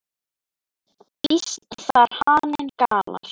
Býsn þar haninn galar.